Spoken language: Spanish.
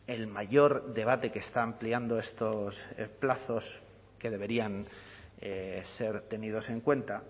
el mayor debate que está ampliando estos plazos que deberían ser tenidos en cuenta